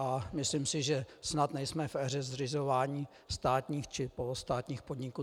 A myslím si, že snad nejsme v éře zřizování státních či polostátních podniků.